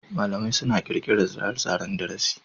malamai suna ƙirƙirar tsare-tsaren darasi.